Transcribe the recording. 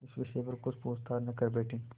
इस विषय पर कुछ पूछताछ न कर बैठें